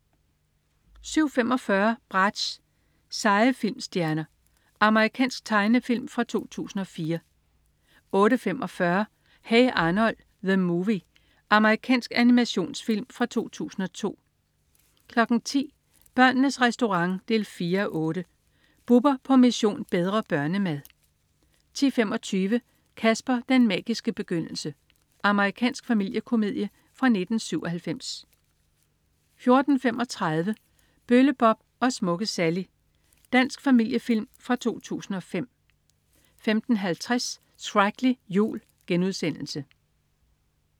07.45 Bratz. Seje Filmstjerner. Amerikansk tegnefilm fra 2004 08.45 Hey Arnold! The Movie. Amerikansk animationsfilm fra 2002 10.00 Børnenes Restaurant 4:8. Bubber på "Mission: Bedre børnemad" 10.25 Casper, den magiske begyndelse. Amerikansk familiekomedie fra 1997 14.35 Bølle Bob & Smukke Sally. Dansk familiefilm fra 2005 15.50 Shreklig jul*